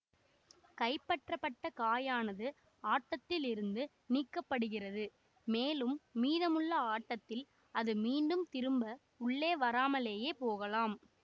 கைப்பற்றப்பட்ட காயானது ஆட்டத்தில் இருந்து நீக்கப்படுகிறது மேலும் மீதமுள்ள ஆட்டத்தில் அது மீண்டும் திரும்ப உள்ளே வராமலேயே போகலாம்